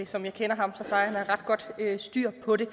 som jeg kender ham så plejer han at have ret godt styr på det